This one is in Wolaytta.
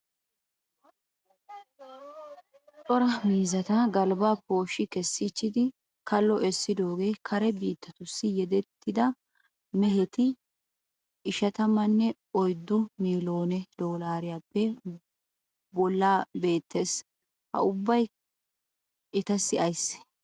Cora miizzata galbba pooshshi kessiichchidi kallo essidogee kare biittatussi yedettida meheti ishatamanne oyiddu miiloone doolaariyaappe bollay beettes. Ha ubbay etassi ayissee?